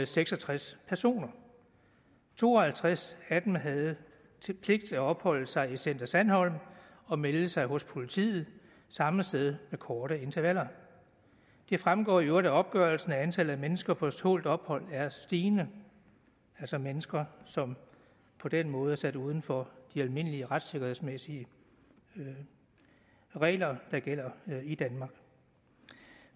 seks og tres personer to og halvtreds af dem havde pligt til at opholde sig i center sandholm og melde sig hos politiet samme sted med korte intervaller det fremgår i øvrigt af opgørelsen at antallet af mennesker på tålt ophold er stigende altså mennesker som på den måde er sat uden for de almindelige retssikkerhedsmæssige regler der gælder i danmark